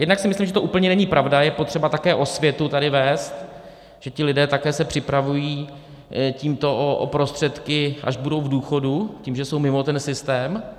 Jednak si myslím, že to úplně není pravda, je potřeba také osvětu tady vést, že ti lidé také se připravují tímto o prostředky, až budou v důchodu, tím, že jsou mimo ten systém.